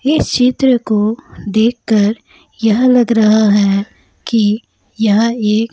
इस चित्र को देखकर यह लग रहा है कि यह एक--